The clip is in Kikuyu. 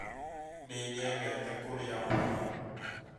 Nĩ nyendete kũrĩa mboga